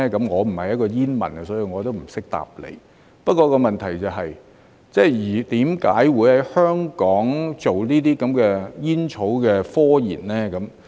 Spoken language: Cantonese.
我不是一名煙民，所以我也不懂得回答，不過問題是，為何會在香港進行有關煙草的科研呢？